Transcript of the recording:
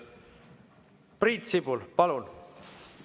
Priit Sibul, palun!